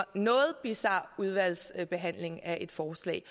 noget bizar udvalgsbehandling af et forslag